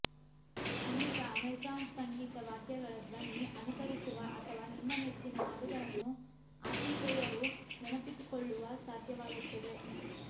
ಅನೇಕ ಅಮೆಝಾನ್ಸ್ ಸಂಗೀತ ವಾದ್ಯಗಳ ಧ್ವನಿ ಅನುಕರಿಸುವ ಅಥವಾ ನಿಮ್ಮ ನೆಚ್ಚಿನ ಹಾಡುಗಳನ್ನು ಆತಿಥೇಯರು ನೆನಪಿಟ್ಟುಕೊಳ್ಳುವ ಸಾಧ್ಯವಾಗುತ್ತದೆ